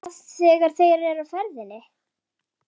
Hvað þegar þeir eru á ferðinni?